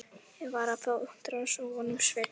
Ég var að fá útrás á honum Svenna.